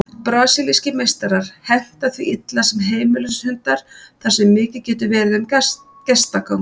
Brasilískir meistarar henta því illa sem heimilishundar þar sem mikið getur verið um gestagang.